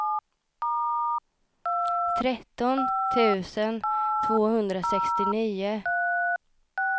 tretton tusen tvåhundrasextionio